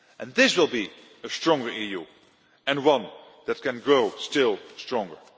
This will be a stronger EU, and one that can grow still stronger.